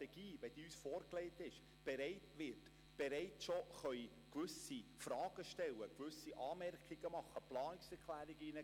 Wird uns die Strategie vorgelegt, können wir bereits gewisse Fragen stellen, Anmerkungen geben und Planungserklärungen einreichen.